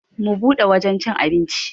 Mu bude wajan cin abinci.